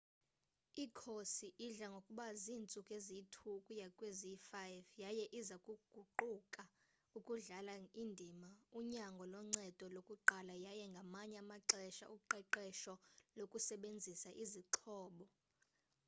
ikhosi idla ngokuba ziintsuku eziyi-2 ukuya kweziyi-5 yaye iza kuquka ukudlala indima unyango loncedo lokuqala yaye ngamanye amaxesha uqeqesho lokusebenzisa izixhobo